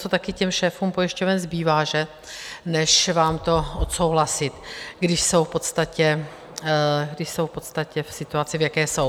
Co také těm šéfům pojišťoven zbývá, že?, než vám to odsouhlasit, když jsou v podstatě v situaci, v jaké jsou.